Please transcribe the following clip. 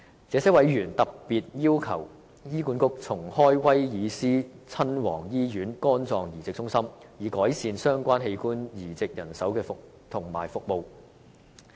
這些委員特別要求醫管局重開威爾斯親王醫院肝臟移植中心，以改善相關器官移植人手及服務。